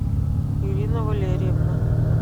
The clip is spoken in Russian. ирина валерьевна